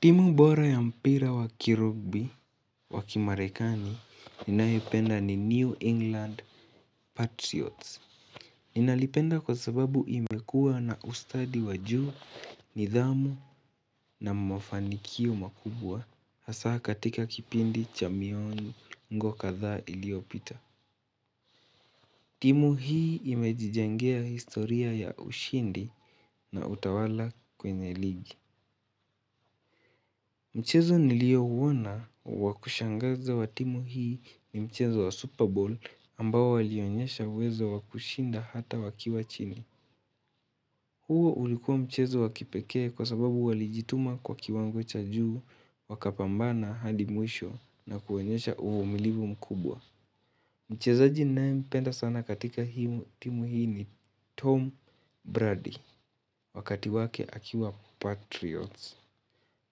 Timu bora ya mpira wakirubi wakimarekani ninaipenda ni New England Patriots. Ninalipenda kwa sababu imekua na ustadi wajuu, nidhamu na mafanikio makubwa hasa katika kipindi cha miongo kadha iliopita. Timu hii imejijengea historia ya ushindi na utawala kwenye ligi. Mchezo niliouona wakushangaza wa timu hii ni mchezo wa Super Bowl ambao alionyesha uwezo wa kushinda hata wakiwa chini. Huu ulikuwa mchezo wakipeke kwa sababu walijituma kwa kiwango cha juu wakapambana hadi mwisho na kuonyesha uvumilivu mkubwa. Mchezaji nae mpenda sana katika hii timu hii ni Tom Brady wakati wake akiwa Patriots.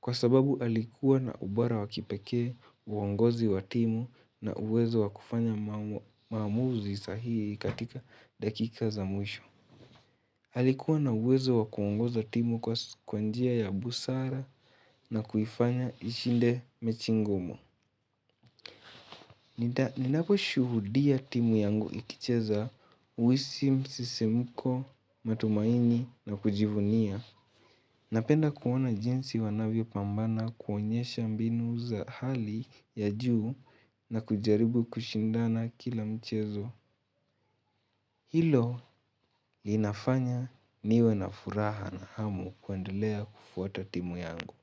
Kwa sababu alikuwa na ubora wakipeke uongozi wa timu na uwezo wakufanya maamuzi sahihi katika dakika za mwisho. Alikuwa na uwezo wa kuongoza timu kwa kwa njia ya busara na kufanya ishinde mechi ngumu. Ninapo shuhudia timu yangu ikicheza uhisi msisimuko matumaini na kujivunia. Napenda kuona jinsi wanavyo pambana kuonyesha mbinu za hali ya juu na kujaribu kushindana kila mchezo. Hilo linafanya niwe na furaha na hamu kuendelea kufuata timu yangu.